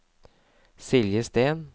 Silje Steen